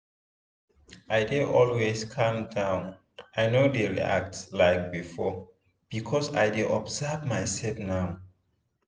i dey always calm down i no dey react like before because i dey observe my self now.